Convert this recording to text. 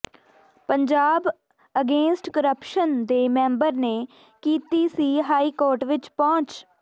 Punjab against corruption ਦੇ member ਨੇ ਕੀਤੀ ਸੀ ਹਾਈ ਕੋਰਟ ਵਿੱਚ ਪਹੁੰਚ